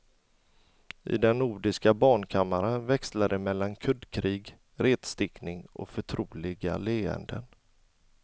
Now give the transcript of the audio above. I den nordiska barnkammaren växlar det mellan kuddkrig, retstickning och förtroliga leenden.